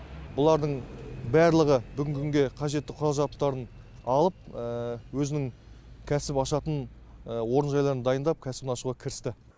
бұлардың барлығы бүгінгі күнге қажетті құрал жабдықтарын алып өзінің кәсіп ашатын орынжайларын дайындап кәсібін ашуға кірісті